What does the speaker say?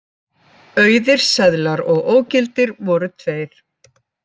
Auðir seðlar og ógildir voru tveir